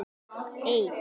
Það var í öðru lífi.